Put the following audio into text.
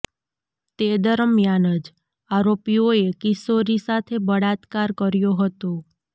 તે દરમિયાન જ આરોપીઓએ કિશોરી સાથે બળાત્કાર કર્યો હતો